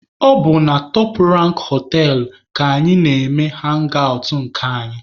Ọ bụ na Top Rank họtelụ ka anyị na-eme hangi awụt nke anyị.